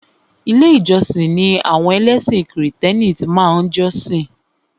Ilé ìjósìn ni àwọn ẹlẹ́sìn krìstẹ́nì máa tí ń jọ́sìn.